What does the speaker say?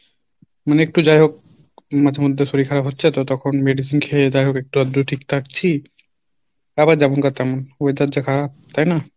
মানে একটু যাই হোক মাঝেমধ্যে শরীর খারাপ হচ্ছে তো তখন medicine খেয়ে যাইহোক একটু আধটু ঠিক থাকছি আবার যেমনকার তেমন weather যা খারাপ তাই না?